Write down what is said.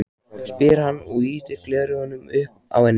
spyr hann og ýtir gleraugunum upp á ennið.